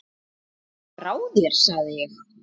Ertu frá þér sagði ég.